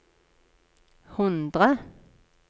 hundre